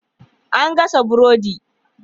An gasa burodi.